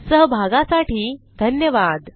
सहभागासाठी धन्यवाद